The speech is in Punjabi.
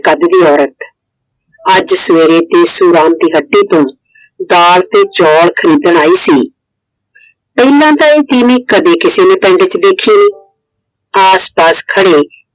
ਅੱਜ ਦੀ ਔਰਤ। ਅੱਜ ਸਵੇਰੇ ਦੇਸੁ ਰਾਮ ਦੀ ਹੱਟੀ ਤੋਂ ਦਾਲ ਤੇ ਚੋਲ ਖਰੀਦਣ ਆਇ ਸੀ। ਪਹਿਲਾ ਤਾਂ ਇਹ ਤੀਵੀਂ ਕਦੇ ਕਿਸੇ ਨੇ ਪਿੰਡ ਚ ਦੇਖੀ ਨਹੀਂ । ਆਸ ਪਾਸ ਖੜੇ